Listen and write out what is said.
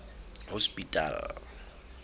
hospital